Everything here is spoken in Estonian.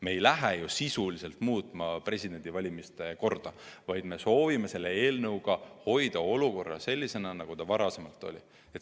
Me ei lähe ju presidendivalimiste korda sisuliselt muutma, vaid me soovime selle eelnõuga hoida olukorra sellisena, nagu ta varem oli.